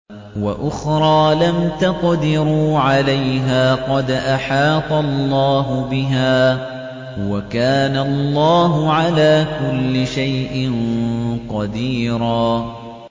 وَأُخْرَىٰ لَمْ تَقْدِرُوا عَلَيْهَا قَدْ أَحَاطَ اللَّهُ بِهَا ۚ وَكَانَ اللَّهُ عَلَىٰ كُلِّ شَيْءٍ قَدِيرًا